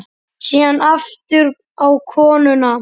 Síðan aftur á konuna.